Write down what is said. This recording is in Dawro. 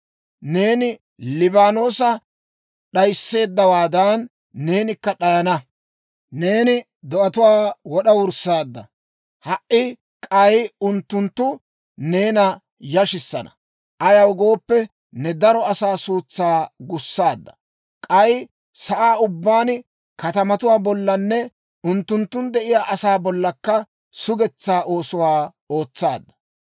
Neeni Liibaanoosa d'ayisseeddawaadan, neenikka d'ayana. Neeni do'atuwaa wora wurssaadda; ha"i k'ay unttunttu neena yashissana. Ayaw gooppe, ne daro asaa suutsaa gussaadda; k'ay sa'aa ubbaan, katamatuwaa bollanne unttunttun de'iyaa asaa bollakka sugetsaa oosuwaa ootsaadda.